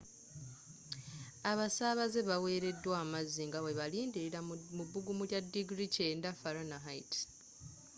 abasaabaze baweleddwa amazzi nga bwe balindira mu bbugumu lya diguli 90f